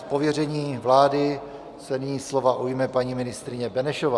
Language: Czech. Z pověření vlády se nyní slova ujme paní ministryně Benešová.